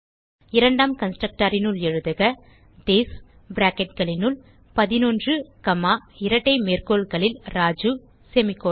இரண்டாம் constructorனுள் எழுதுக திஸ் bracketகளினுள் 11 காமா இரட்டை மேற்கோள்களில் ராஜு செமிகோலன்